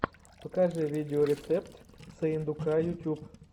покажи видеорецепт сыендука ютьюб